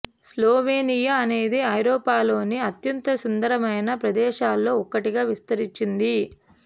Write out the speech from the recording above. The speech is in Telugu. స్లోవేనియా అనేది ఐరోపాలోని అత్యంత సుందరమైన ప్రదేశాలలో ఒకటిగా విస్తరించింది